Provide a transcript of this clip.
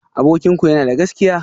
Abokinku yana da gaskiya?